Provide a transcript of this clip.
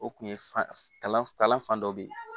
O kun ye fa kalan fan dɔ bɛ ye